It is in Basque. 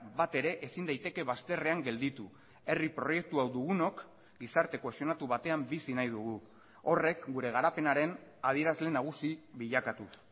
bat ere ezin daiteke bazterrean gelditu herri proiektu hau dugunok gizarte kohesionatu batean bizi nahi dugu horrek gure garapenaren adierazle nagusi bilakatuz